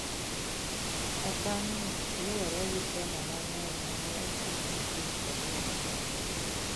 Okang’no luwore gi temo mang’eny ma ne otim gi piny Korea ma Ugwe.